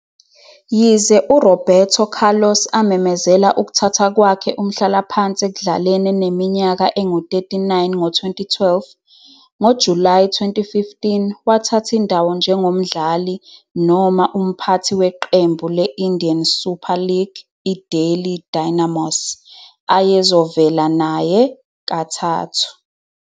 Yize uRoberto Carlos amemezela ukuthatha kwakhe umhlalaphansi ekudlaleni eneminyaka engu-39 ngo-2012, ngoJulayi 2015 wathatha indawo njengomdlali - umphathi weqembu le-Indian Super League i-Delhi Dynamos, ayezovela naye kathathu.